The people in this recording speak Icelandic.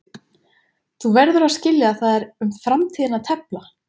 Þú verður að skilja að það er um framtíðina að tefla.